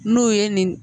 N'u ye nin